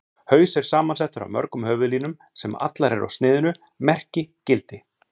Haus er samansettur af mörgum höfuðlínum, sem allar eru á sniðinu Merki: gildi.